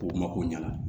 K'o mako ɲɛna